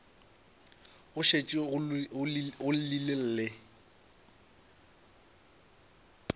go šetše go llile le